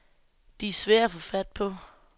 De er svære at få fat på.